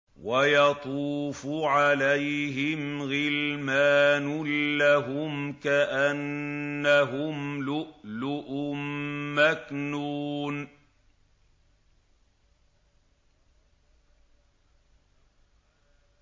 ۞ وَيَطُوفُ عَلَيْهِمْ غِلْمَانٌ لَّهُمْ كَأَنَّهُمْ لُؤْلُؤٌ مَّكْنُونٌ